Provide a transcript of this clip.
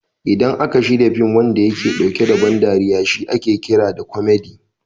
Idan aka shirya fin wanda yake ɗauke da ban dariya shi ake kira da kwamadi (comedy)